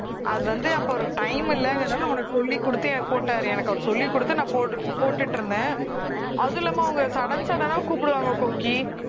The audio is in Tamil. அது வந்து அப்போ அவருக்கு time இல்லைங்கறதுனால உனக்கு சொல்லிக் கொடுத்து போட்டாரு எனக்கு அவரு சொல்லிக் கொடுத்து நான் போட்டு போட்டுட்டு இருந்தேன் அதுவும் இல்லாம அவங்க sudden sudden ஆ கூப்பிடுவாங்க கோக்கி